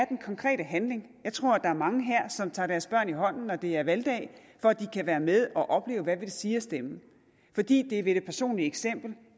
den konkrete handling jeg tror der er mange her som tager deres børn i hånden når det er valgdag for at de kan være med og opleve hvad det vil sige at stemme fordi det er ved det personlige eksempel